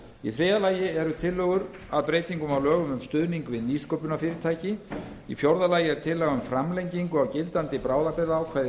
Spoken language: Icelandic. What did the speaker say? í þriðja lagi eru tillögur að breytingum á lögum um stuðning við nýsköpunarfyrirtæki í fjórða lagi er tillaga um framlengingu á gildandi bráðabirgðaákvæði í